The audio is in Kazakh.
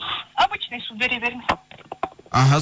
обычный су бере беріңіз іхі